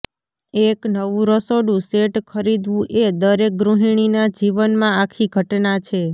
એક નવું રસોડું સેટ ખરીદવું એ દરેક ગૃહિણીના જીવનમાં આખી ઘટના છે